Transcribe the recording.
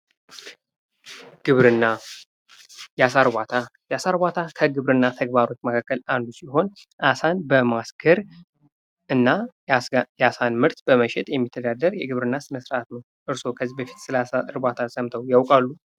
ግብርና ፦ የአሳ እርባታ ፦ የአሳ እርባታ ከግብርና ተግባሮች መካከል አንዱ ሲሆን አሳን በማስገር እና የአሳን ምርት በመሸጥ የሚተዳደር የግብርና ስነስርዓት ነው ። እርስዎ ከዚህ በፊት ስለአሳ እርባታ ሰምተው ያውቃሉ ?